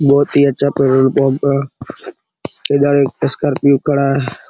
बहुत ही अच्छा पेट्रोल पंप है इधर एक स्कार्पियो खड़ा --